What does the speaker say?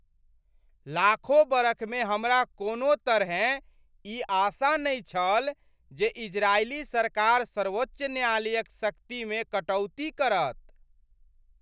लाखो बरखमे हमरा कोनो तरहेँ ई आशा नहि छल जे इजरायली सरकार सर्वोच्च न्यायालयक शक्तिमे कटौती करत।